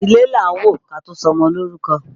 Ilé là á wò ká tó sọmọ lórúkọ